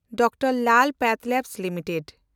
Dr Lal PathLab limited